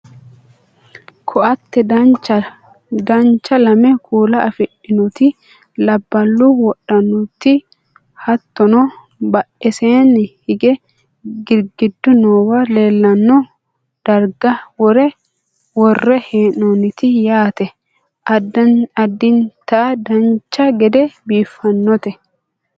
ko"atte dancha lame kuula afidhinoti labballu wodhannoti hattono badheseenni hige girgiddu noowa leellanno darga worre hee'noonnite yaate adddinata dancha gede biiffannote